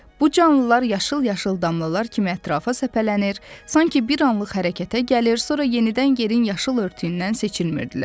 Bu canlılar yaşıl-yaşıl damlalar kimi ətrafa səpələnir, sanki bir anlıq hərəkətə gəlir, sonra yenidən yerin yaşıl örtüyündən seçilmirdilər.